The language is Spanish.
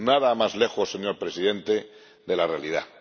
Nada más lejos, señor Presidente, de la realidad.